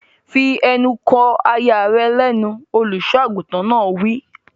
Fi ẹnu kò aya rẹ lẹ́nu! Olùsọ àgùntàn náà wí.